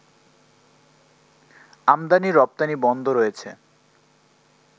আমদানি রপ্তানি বন্ধ রয়েছে